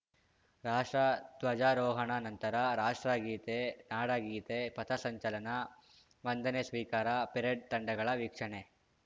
ರಾಷ್ಟ್ರ ಧ್ವಜಾರೋಹಣ ನಂತರ ರಾಷ್ಟ್ರಗೀತೆ ನಾಡಗೀತೆ ಪಥಸಂಚಲನ ವಂದನೆ ಸ್ವೀಕಾರ ಪೆರೇಡ್‌ ತಂಡಗಳ ವೀಕ್ಷಣೆ